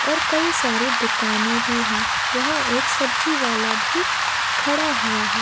और कई सारे दुकानें भी है। यहाँ एक सब्जीवाला भी खड़ा हुआ है।